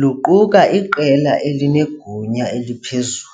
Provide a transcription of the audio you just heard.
luquka iqela elinegunya eliphezulu.